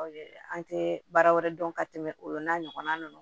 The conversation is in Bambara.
An tɛ baara wɛrɛ dɔn ka tɛmɛ olu n'a ɲɔgɔnna ninnu